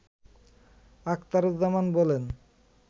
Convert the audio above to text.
আখতারুজ্জামান বলেন